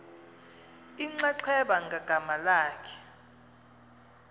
inxaxheba ngagama lakhe